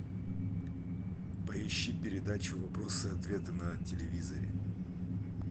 поищи передачу вопросы и ответы на телевизоре